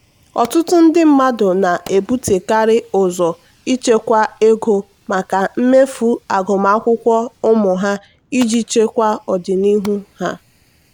"ọtụtụ ndị mmadụ na-ebutekarị ụzọ ichekwa ego maka mmefu agụmakwụkwọ ụmụ ha iji chekwa ọdịnihu ha."